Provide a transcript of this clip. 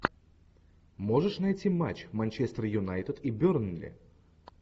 можешь найти матч манчестер юнайтед и бернли